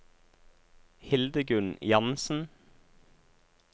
Hildegunn Jansen